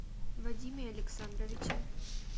вадиме александровиче